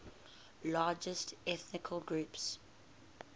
largest ethnic groups